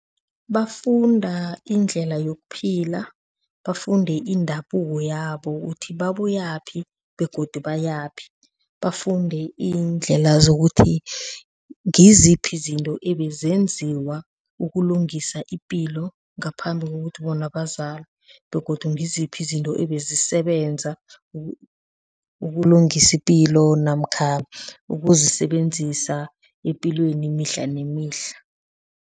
Bafunda indlela yokuphila, bafunde indabuko yabo ukuthi babuyaphi begodu bayaphi, bafunde iindlela zokuthi ngiziphi zinto ebezenziwa ukulungisa ipilo ngaphambi kokuthi bona bazalwe begodu ngiziphi izinto ebezisebenza ukulungisa ipilo namkha ukuzisebenzisa epilweni mihla nemihla.